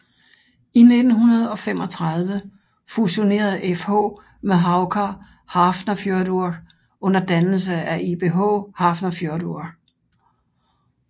I 1935 fusionerede FH med Haukar Hafnarfjörður under dannelse af ÍBH Hafnarfjörður